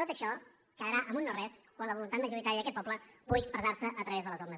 tot això quedarà en un no res quan la voluntat majoritària d’aquest poble pugui expressarse a través de les urnes